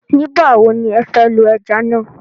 Nígba wò ni ẹ fẹ́ lo ẹja na?